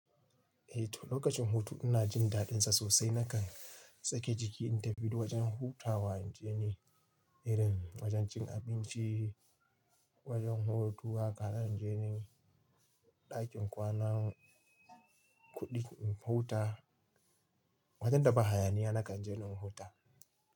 Eh to lokacin hutu ina jin daɗinsa sosai. Nakan sake jiki in tafi wajen hutawa na je ni irin wajen cin abinci, wajen hutu, hakan zanje ni ɗakin kwana kuɗin in huta. Wajen da ba hayaniya nakan je na huta.